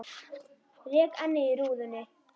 Rek ennið í rúðuna.